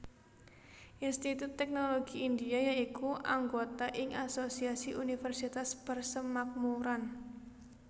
Institut Teknologi India ya iku anggota ing Asosiasi Universitas Persemakmuran